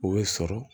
O bɛ sɔrɔ